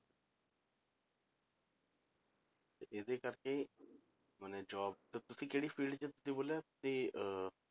ਤੇ ਇਹਦੇ ਕਰਕੇ ਮਨੇ job ਤਾਂ ਤੁਸੀਂ ਕਿਹੜੀ field 'ਚ ਤੁਸੀਂ ਬੋਲਿਆ ਕਿ ਅਹ